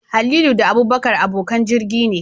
Halilu da Abubakar abokan jirgi ne